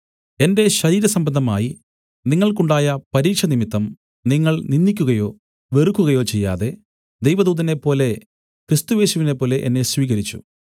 എന്റെ ശരീരസംബന്ധമായി നിങ്ങൾക്കുണ്ടായ പരീക്ഷനിമിത്തം നിങ്ങൾ നിന്ദിക്കുകയോ വെറുക്കുകയോ ചെയ്യാതെ ദൈവദൂതനെപ്പോലെ ക്രിസ്തുയേശുവിനെപ്പോലെ എന്നെ സ്വീകരിച്ചു